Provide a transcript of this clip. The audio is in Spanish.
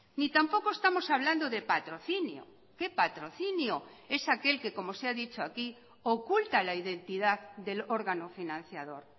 ni tampoco estamos hablando de patrocinio que patrocinio es aquel que como se ha dicho aquí oculta la identidad del órgano financiador